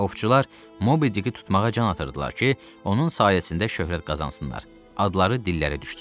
Ovçular Mobidiki tutmağa can atırdılar ki, onun sayəsində şöhrət qazansınlar, adları dillərə düşsün.